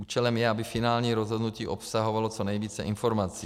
Účelem je, aby finální rozhodnutí obsahovalo co nejvíce informací.